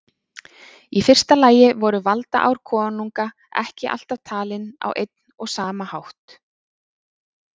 Í fyrsta lagi voru valdaár konunga ekki alltaf talin á einn og sama hátt.